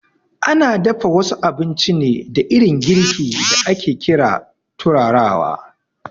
Ana dafa wasu abinci ne da irin girki da ake ƙira turarawa